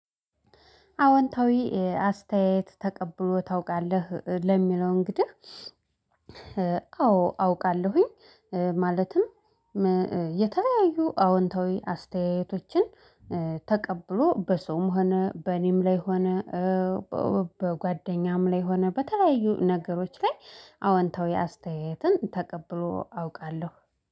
አወንታዊ አስተያየት ተቀብሎ ታውቃለህ ለሚለው እንግዲህ አዎ አውቃለሁኝ። ማለትም የተለያዩ አዎንታዊ አስተያየቶችን ተቀብሎ በሰውም ሆነ በኔም ላይ ሆነ። በጓደኛም ላይ ሆነ በተለያዩ ነገሮች ላይ አወንታዊ አስተያየትን ተቀብሎ አውቃለሁ